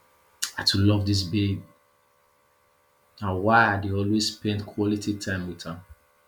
i too love dis babe na why i dey always spend quality time wit am